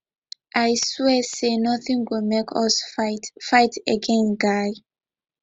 i swear say nothing go make us fight fight again guy